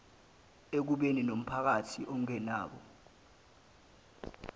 ekubeni nompakathi ongenabo